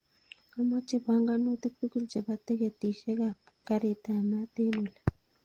Amoche panganutik tugul chebo tikitisiek ab karitab mat en olii